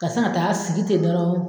Ka san ga t'a sigi te dɔrɔn